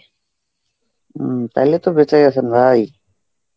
হম তাইলে তো বেঁচে গেছেন ভাই.